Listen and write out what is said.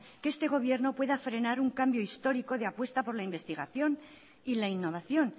que este gobierno pueda frenar un cambio histórico de apuesta por la investigación y la innovación